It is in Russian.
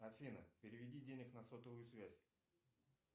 афина переведи денег на сотовую связь